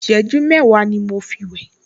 Ìṣẹ́jú mẹ́wàá ni mo fi wẹ̀